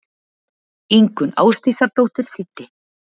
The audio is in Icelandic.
Ingunn Ásdísardóttir þýddi.